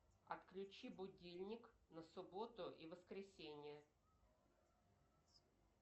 отключи будильник на субботу и воскресенье